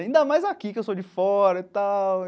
Ainda mais aqui, que eu sou de fora e tal.